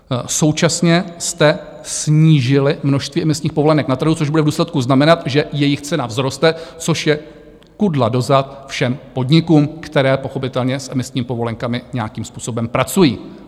Současně jste snížili množství emisních povolenek na trhu, což bude v důsledku znamenat, že jejich cena vzroste, což je kudla do zad všem podnikům, které pochopitelně s emisními povolenkami nějakým způsobem pracují.